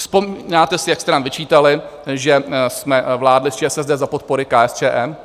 Vzpomínáte si, jak jste nám vyčítali, že jsme vládli s ČSSD za podpory KSČM?